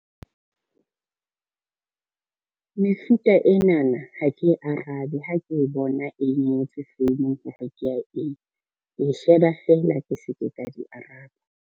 Mefuta enana ha ke e arabe ha ke e bona e ngotswe founung hore ke ya eng. E sheba feela ke se ke ka di araba.